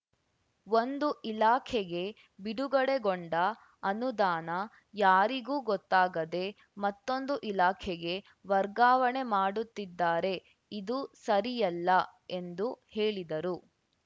ಒಂದು ಇಲಾಖೆಗೆ ಬಿಡುಗಡೆಗೊಂಡ ಅನುದಾನ ಯಾರಿಗೂ ಗೊತ್ತಾಗದೆ ಮತ್ತೊಂದು ಇಲಾಖೆಗೆ ವರ್ಗಾವಣೆ ಮಾಡುತ್ತಿದ್ದಾರೆ ಇದು ಸರಿಯಲ್ಲ ಎಂದು ಹೇಳಿದರು